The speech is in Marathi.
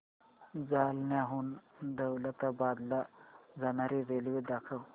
जालन्याहून दौलताबाद ला जाणारी रेल्वे दाखव